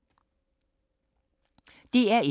DR1